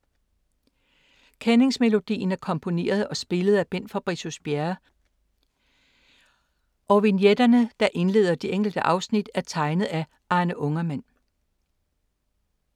Kendingsmelodien er komponeret og spillet af Bent Fabricius-Bjerre, og vignetterne, der indleder de enkelte afsnit, er tegnet af Arne Ungermann.